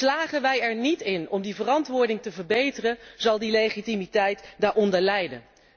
Slagen wij er niet in om die verantwoording te verbeteren, dan zal die legitimiteit daaronder lijden.